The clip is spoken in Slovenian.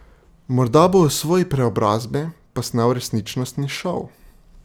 Morda bo o svoji preobrazbi posnel resničnostni šov.